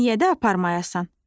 Niyə də aparmayasan?